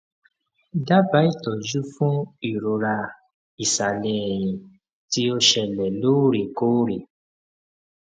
daba itoju fun irora isale eyin ti o sele lorekore